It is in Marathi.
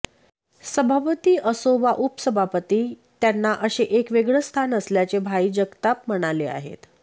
सभापती असो वा उपसभापती त्यांना असे एक वेगळं स्थान असल्याचे भाई जगतात म्हणाले आहेत